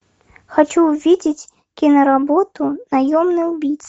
хочу увидеть киноработу наемный убийца